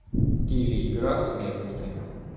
телеигра смертники